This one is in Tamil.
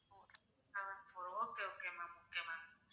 ̥ seven okay okay ma'am okay ma'am